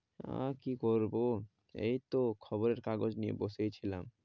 আর কি করবো? এই তো খবরের কাগজ নিয়ে বসেই ছিলাম।